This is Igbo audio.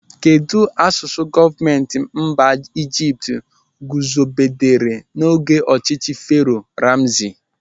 Kedụ asụsụ gọọmenti mba Ijipt guzobere n'oge ọchịchị Fero Ramsi?